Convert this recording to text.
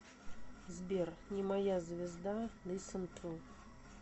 сбер не моя звезда лиссенту